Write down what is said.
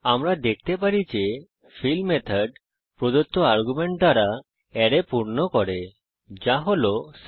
আমরা দেখতে পারি যে ফিল মেথড প্রদত্ত আর্গুমেন্ট দ্বারা অ্যারে পূর্ণ করে যা 6